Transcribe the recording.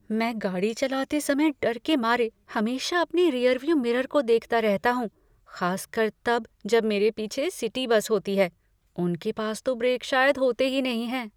मैं गाड़ी चलाते समय डर के मारे हमेशा अपने रियर व्यू मिरर को देखता रहता हूँ, खासकर तब जब मेरे पीछे सिटी बस होती हैं। उनके पास तो ब्रेक शायद होते ही नहीं हैं।